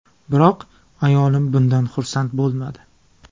Biroq ayolim bundan xursand bo‘lmadi.